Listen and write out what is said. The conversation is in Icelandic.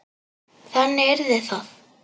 Þannig yrði það.